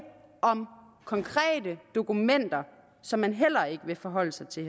om konkrete dokumenter som man heller ikke vil forholde sig til